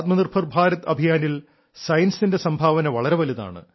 ആത്മനിർഭർ ഭാരത് അഭിയാനിൽ സയൻസിന്റെ സംഭാവന വളരെ വലുതാണ്